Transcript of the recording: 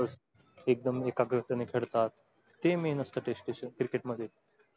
एकदम एकाग्रतेने खेळतात. ते main असतं test cricket मध्ये.